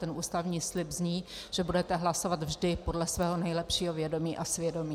Ten ústavní slib zní, že budete hlasovat vždy podle svého nejlepšího vědomí a svědomí.